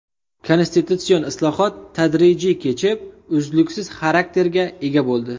Konstitutsion islohot tadrijiy kechib, uzluksiz xarakterga ega bo‘ldi.